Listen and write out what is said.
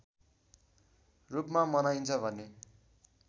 रूपमा मनाइन्छ भने